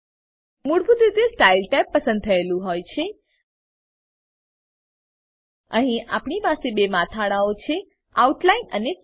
મૂળભૂત રીતે style tab પસંદ થયેલું અહીં આપણી પાસે બે મથાળાઓ છે આઉટલાઇન અને ફિલ